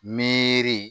Miiri